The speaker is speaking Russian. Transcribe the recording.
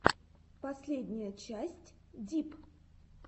последняя часть дип